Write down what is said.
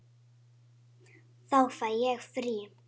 Þá fæ ég frí.